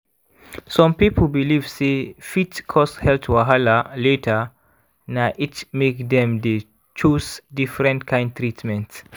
some people belief sey fit cause health wahala later na it make dem dey chose different kind treatment.